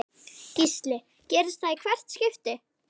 Gísli: Gerist það í hvert skipti?